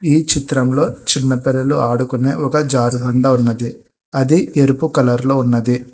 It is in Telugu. ఈ చిత్రంలో చిన్న పిల్లలు ఆడుకునే ఒక జారు బండ ఉన్నది అది ఎరుపు కలర్ లో ఉన్నది.